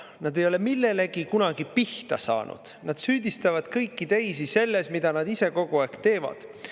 Nad ei ole millelegi kunagi pihta saanud, nad süüdistavad kõiki teisi selles, mida nad ise kogu aeg teevad.